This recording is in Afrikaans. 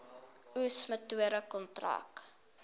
oes metode kontrak